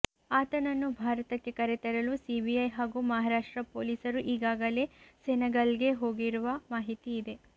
ಆತನನ್ನು ಭಾರತಕ್ಕೆ ಕರೆತರಲು ಸಿಬಿಐ ಹಾಗೂ ಮಹಾರಾಷ್ಟ್ರ ಪೊಲೀಸರು ಈಗಾಗಲೇ ಸೆನೆಗಲ್ಗೆ ಹೋಗಿರುವ ಮಾಹಿತಿ ಇದೆ